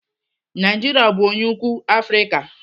Naijiria bụ onye ukwuu Afrịka.